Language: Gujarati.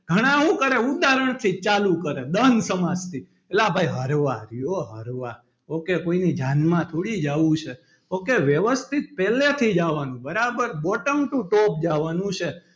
ઘણા હું કરે ઉદાહરણ ની ચાલુ કરે દ્વંદ્વ સમાસ થી લા ભાઈ ok કોઈની જાનમાં થોડી જાવું છે ok વ્યવસ્થિત પહેલીથી જ આવાનું બરાબર bottom to top જવાનું છે.